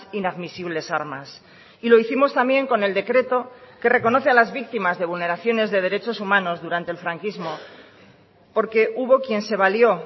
inadmisibles armas y lo hicimos también con el decreto que reconoce a las víctimas de vulneraciones de derechos humanos durante el franquismo porque hubo quien se valió